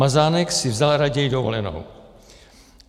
Mazánek si vzal raději dovolenou.